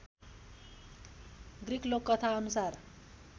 Greek लोककथा अनुसार